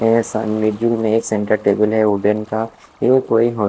सामने जू में एक सेंटर टेबल है वुडेन का